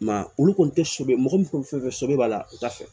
I ma ye olu kɔni tɛ sɛbɛ mɔgɔ min kɔni fɛn fɛn sobɛ b'a la u t'a fɛ